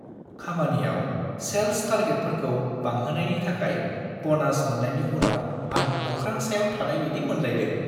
खामानियाव सेल्स टारगेटफोरखौ बांहोनायनि थाखाय ब'नास मोननायनि उनाव आं अख्रां सायाव थानाय बायदि मोनलायदों।